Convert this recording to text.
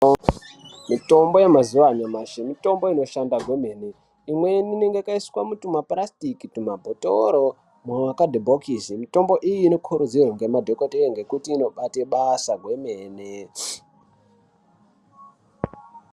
Mitombo yemazuva anyamashi mitombo inoshanda kwemene. Imweni inenge yakaiswa mutumapurasitiki, tumabhotoro, mumakadhibhokisi. Mitombo iyi inokurudzirwa ngemadhogodheya ngekuti inobate basa kwemene.